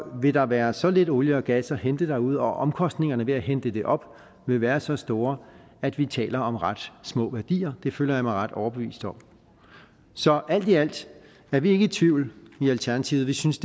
vil der være så lidt olie og gas at hente derude og omkostningerne ved at hente det op vil være så store at vi taler om ret små værdier det føler jeg mig ret overbevist om så alt i alt er vi ikke i tvivl i alternativet vi synes